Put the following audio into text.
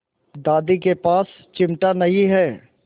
दादी के पास चिमटा नहीं है